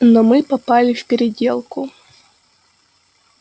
но мы попали в переделку